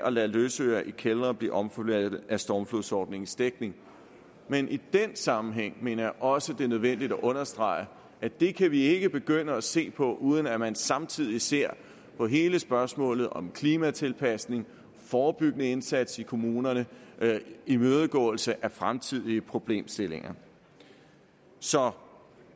at lade løsøre i kældre blive omfattet af stormflodsordningens dækning men i den sammenhæng mener jeg også det er nødvendigt at understrege at det kan vi ikke begynde at se på uden at man samtidig ser på hele spørgsmålet om klimatilpasning forebyggende indsats i kommunerne og imødegåelse af fremtidige problemstillinger så